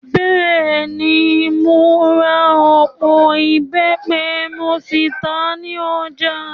Bẹ́ẹ̀ ni, mo ra ọ̀pọ̀ ìbẹ́pẹ mo sì tà á ní ọjà.